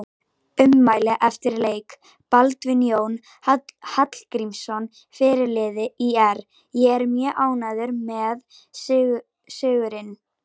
Ummæli eftir leik: Baldvin Jón Hallgrímsson fyrirliði ÍR: Ég er mjög ánægður með sigurinn.